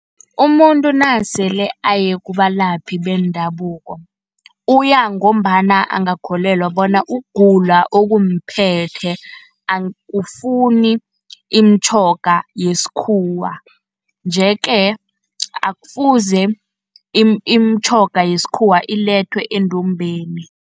Umuntu nasele aye kubalaphi bendabuko, uya ngombana angakholelwa bona ukugula okumphetheko akufuni imitjhoga yeskhuwa. Nje-ke akufuze imitjhoga yesikhuwa ilethwe endumbeni.